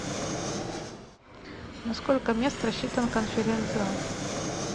на сколько мест рассчитан конференц зал